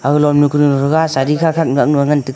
aga lonu kaga sadi khak khak ngak nua ngan tega.